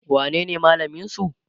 wanene malamin su?